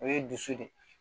O ye dusu de ye